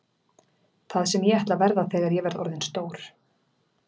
Það sem ég ætla að verða þegar ég verð orðinn stór; D